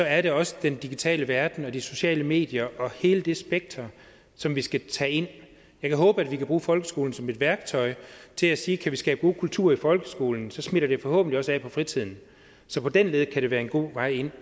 er det også den digitale verden og de sociale medier og hele det spektrum som vi skal tage ind jeg kan håbe at vi kan bruge folkeskolen som et værktøj og til at sige at kan vi skabe gode kulturer i folkeskolen smitter det forhåbentlig også af på fritiden så på den led kan det være en god vej ind